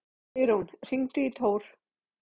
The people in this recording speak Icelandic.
Sigrún, hringdu í Tór.